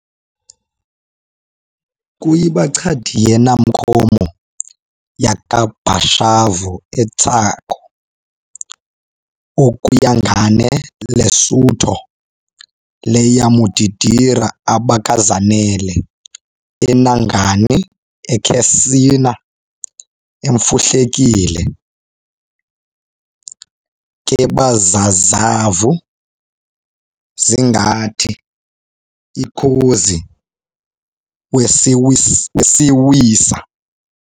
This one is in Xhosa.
Kuyi, bachadiyenamkhomo yakabashavu-eTsakho-okuyangane leSutho leyamudidira abakazanele eNangani akhesina emfumhlekile keBazazavhu zingathi-ikozi weSesiwisa!